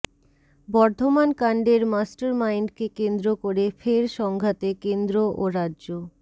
বর্ধমান কাণ্ডের মাস্টারমাইন্ডকে কেন্দ্র করে ফের সংঘাতে কেন্দ্র ও রাজ্য